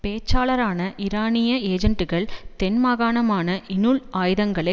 பேச்சாளரான ஈரானிய ஏஜன்டுக்கள் தென்மாகாணமான இனுள் ஆயுதங்களை